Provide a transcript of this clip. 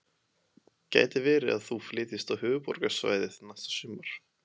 Gæti verið að þú flytjist á Höfuðborgarsvæðið næsta sumar?